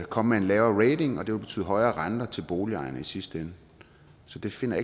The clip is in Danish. komme med en lavere rating og det vil betyde højere renter til boligejerne i sidste ende så det finder